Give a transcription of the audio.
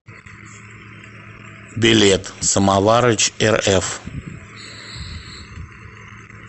билет самоварычрф